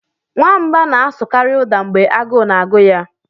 Nwamba na-asụkarị ụda mgbe agụụ na-agụ ya.